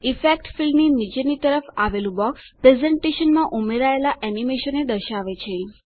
effect ફીલ્ડની નીચેની તરફ આવેલું બોક્સ પ્રેઝેંટેશનમાં ઉમેરાયેલાં એનીમેશનોને દર્શાવે છે